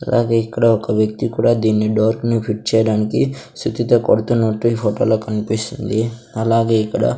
అలాగే ఇక్కడ ఒక వ్యక్తి కూడా దీన్ని డోర్ ను ఫిట్ చేయడానికి సుత్తితో కొడుతున్నట్టు ఈ ఫోటో లో కన్పిస్తుంది అలాగే ఇక్కడ --